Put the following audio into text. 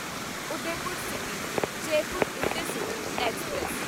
Udaipur City Jaipur Intercity express